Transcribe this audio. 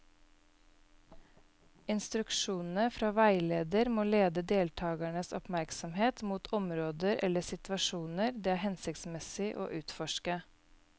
Instruksjonene fra veileder må lede deltakernes oppmerksomhet mot områder eller situasjoner det er hensiktsmessig å utforske.